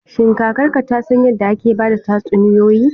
Shin kakarka ta san yadda ake ba da tatsuniyoyi?